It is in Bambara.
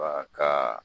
Wa ka